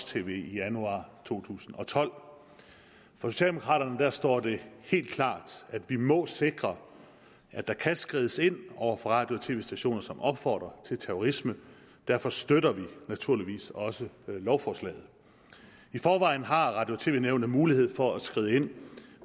tv i januar to tusind og tolv for socialdemokraterne står det helt klart at vi må sikre at der kan skrides ind over for radio og tv stationer som opfordrer til terrorisme derfor støtter vi naturligvis også lovforslaget i forvejen har radio og tv nævnet mulighed for at skride ind